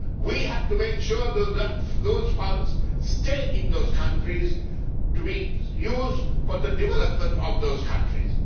We have to make sure that those funds stay in those countries to be used for the development of those countries.